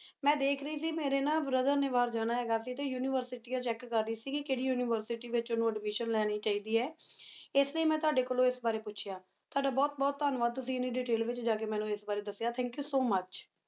ਮੈਂ ਦੇਖ ਰਹੀ ਸੇ ਮੇਰੀ Brother ਨੀ ਬਹਿਰ ਜਾਣਾ ਹੇਗਾ ਸੇ ਟੀ ਉਨਿਵੇਰ੍ਸਿਤਿਯਾਂ Check ਕਰ ਰਹੀ ਸੀਗੀ ਕੇਰੀ University ਵਿਚ ਓਨੁ Admission ਲੇਨੀ ਚਾਹੀ ਦੇ ਆ ਇਸ ਲਾਏ ਮੈ ਤਵਾਡੀ ਕੋਲੋ ਇਸ ਬਰੀ ਪੋਚ੍ਯਾ ਤ੍ਵਾਦਾ ਬੁਹਤ ਬੁਹਤ ਧਨ੍ਯਵਾਦ ਤੁਸੀਂ ਇਨੀ Detail ਵਿਚ ਜਾ ਕੀ ਮੇਨੂ ਇਸ ਬਰੀ ਦਸ੍ਯ Thank you so much